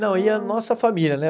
Não, ia nossa família, né?